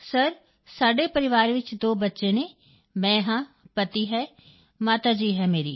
sir ਸਾਡੇ ਪਰਿਵਾਰ ਵਿੱਚ ਦੋ ਬੱਚੇ ਹਨ ਮੈਂ ਹਾਂ ਪਤੀ ਹੈ ਮਾਤਾ ਜੀ ਹੈ ਮੇਰੀ